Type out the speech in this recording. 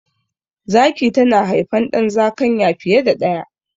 Zaki tana haifan ɗan zakanya fiye da daya